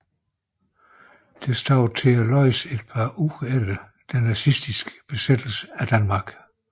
Det stod at læse et par uger efter den nazistiske besættelse af Danmark